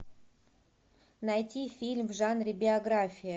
найти фильм в жанре биография